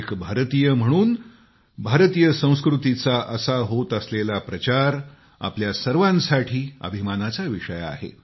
एक भारतीय म्हणून भारतीय संस्कृतीचा असा होत असलेला प्रचार आपल्या सर्वांसाठी अभिमानाचा विषय आहे